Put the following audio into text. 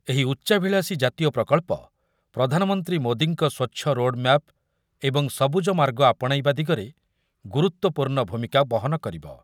ଏହି ଉଚ୍ଚାଭିଳାଷୀ ଜାତୀୟ ପ୍ରକଳ୍ପ ପ୍ରଧାନମନ୍ତ୍ରୀ ମୋଦିଙ୍କ ସ୍ୱଚ୍ଛ ରୋଡମ୍ୟାପ ଏବଂ ସବୁଜ ମାର୍ଗ ଆପଣାଇବା ଦିଗରେ ଗୁରୁତ୍ୱପୂର୍ଣ୍ଣ ଭୂମିକା ବହନ କରିବ।